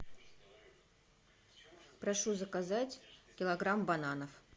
прошу заказать килограмм бананов